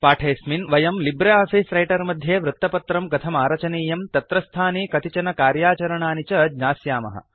पाठेऽस्मिन् वयं Libre Office Writer मध्ये वृत्तपत्रं कथमारचनीयं तत्रस्थानि कतिचन कार्याचरणानि च ज्ञास्यामः